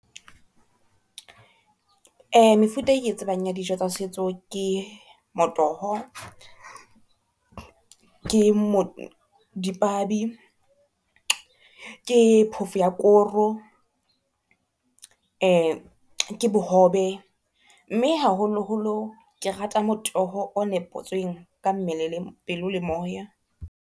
Mefuta e ke tsebang ya dijo tsa setso ke motoho, ke dipabi, ke phofo ya koro, ke bohobe, mme haholoholo ke rata motoho o nepotsweng ka mmele le pelo le moya.